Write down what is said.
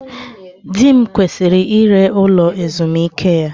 Di m kwesịrị ire ụlọ ezumike ya